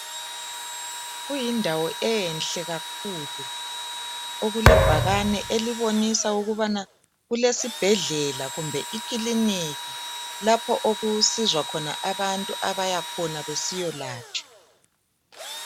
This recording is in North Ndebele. Kuyindawo enhle kakhulu okulebhakani elibonisa ukuthi kulesibhedlela kumbe iclinikhi lapho okusizwa khona abantu abahamba khona besiyalatshwa